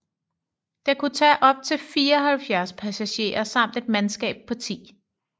Den kunne tage op til 74 passagerer samt et mandskab på 10